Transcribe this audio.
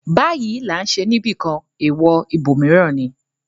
‘‘Báyìí là ń ṣe’’ níbìkan, èèwọ̀ ibòmíràn ni.